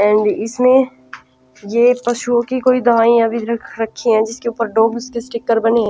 And इसमें ये पशुओं की कोई दवाइयाँ भी रख रखी है जिसके ऊपर डॉग के स्टिकर बने हैं।